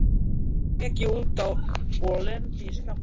Þá ek ég út af og lendi í skafli.